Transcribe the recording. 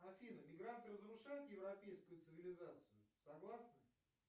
афина мигранты разрушают европейскую цивилизацию согласна